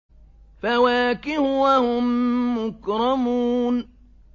فَوَاكِهُ ۖ وَهُم مُّكْرَمُونَ